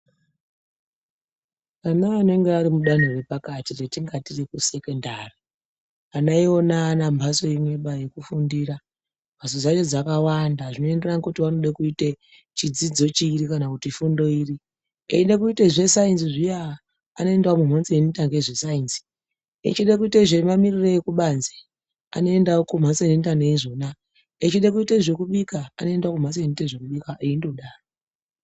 Ana anenge arimudanho repakati retingati rekusekendari ana iwona aana mbatso imwebaa yekufundira, mbatso dzacho dzakawanda zvinoenderana nekuti vanode kuita chidzidzo chiri kana kuti fundo iri eida kuita zvesayenzi zviya anoendawo mumhatso unoita nezve sayenzi, echida kuita zvemamirire ekubanze anoendawo kumhatso inoita nezveizvona , echida kuita zvekubika anoendawo mumhatso inoite zvekubika endodaro.